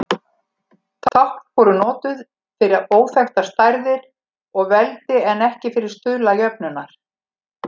Tákn voru notuð fyrir óþekktar stærðir og veldi en ekki fyrir stuðla jöfnunnar.